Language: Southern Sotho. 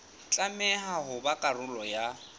tlameha ho ba karolo ya